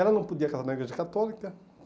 Ela não podia casar na igreja católica.